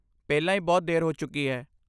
ਪਹਿਲਾਂ ਹੀ ਬਹੁਤ ਦੇਰ ਹੋ ਚੁੱਕੀ ਹੈ।